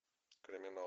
криминал